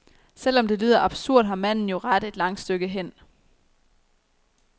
Selv om det lyder absurd, har manden jo ret et langt stykke hen.